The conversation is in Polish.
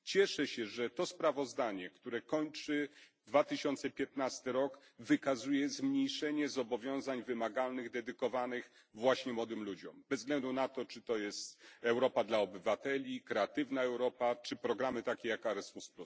Cieszę się, że to sprawozdanie, które kończy 2015 rok, wykazuje zmniejszenie zobowiązań wymagalnych dedykowanych właśnie młodym ludziom bez względu na to, czy to jest program Europa dla obywateli, Kreatywna Europa czy programy takie jak Erasmus.